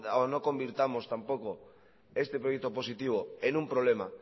o no convirtamos tampoco este proyecto positivo en un problema